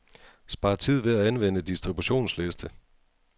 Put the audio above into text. Spar tid ved at anvende distributionsliste.